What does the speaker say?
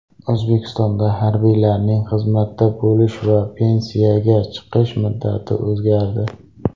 O‘zbekistonda harbiylarining xizmatda bo‘lish va pensiyaga chiqish muddati o‘zgardi.